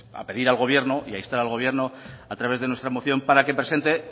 a pedir al gobierno y a instar al gobierno a través de nuestra moción para que presente